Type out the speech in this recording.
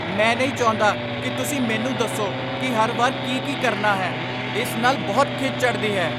ਮੈਂ ਨਹੀਂ ਚਾਹੁੰਦਾ ਕਿ ਤੁਸੀਂ ਮੈਨੂੰ ਦੱਸੋ ਕਿ ਹਰ ਵਾਰ ਕਿ ਕੀ ਕਰਨਾ ਹੈ। ਇਸ ਨਾਲ ਬਹੁਤ ਖਿਝ ਚੜ੍ਹਦੀ ਹੈ।